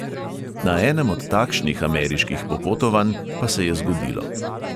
Na enem od takšnih ameriških popotovanj pa se je zgodilo.